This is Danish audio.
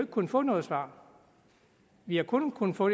kunnet få noget svar vi har kun kunnet få